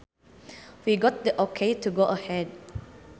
We got the okay to go ahead